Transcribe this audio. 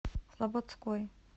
слободской